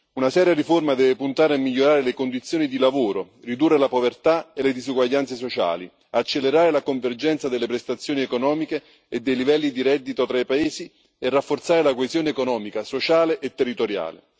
Una seria riforma deve puntare a migliorare le condizioni di lavoro, ridurre la povertà e le disuguaglianze sociali, accelerare la convergenza delle prestazioni economiche e dei livelli di reddito tra i paesi e rafforzare la coesione economica, sociale e territoriale.